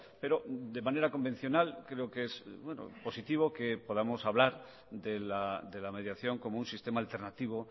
pero de manera convencional creo que es positivo que podamos hablar de la mediación como un sistema alternativo